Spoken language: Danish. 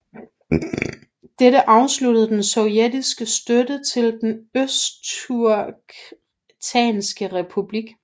Dette afsluttede den sovjetiske støtte til Den østturkestanske republik